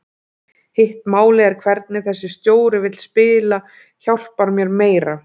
Hitt málið er hvernig þessi stjóri vill spila hjálpar mér meira.